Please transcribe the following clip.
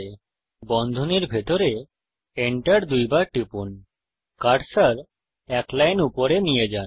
এখন বন্ধনীর ভিতরে Enter দুইবার টিপুন কার্সার এক লাইন উপরে নিয়ে যান